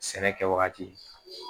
Sɛnɛ kɛ wagati